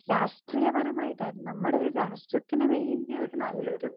speaker 2 രാഷ്ട്രീയപരമായിട്ട് അതായത് നമ്മടെ ഒരു രാഷ്ട്രത്തിന് വേണ്ടി ഒരു നല്ലൊരു